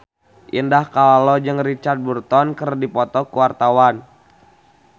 Indah Kalalo jeung Richard Burton keur dipoto ku wartawan